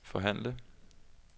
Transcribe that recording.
forhandle